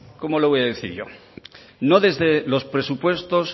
cómo le voy a decir yo no desde los presupuestos